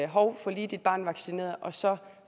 hov få lige dit barn vaccineret så